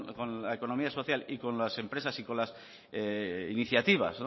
con la economía social y con las empresas y con las iniciativas